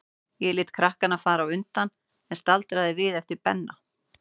Ég lét krakkana fara á undan, en staldraði við eftir Benna.